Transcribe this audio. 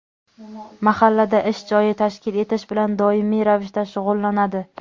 mahallada ish joyi tashkil etish bilan doimiy ravishda shug‘ullanadi.